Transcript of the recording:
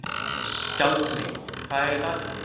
Skjaldmey, hvað er í dagatalinu mínu í dag?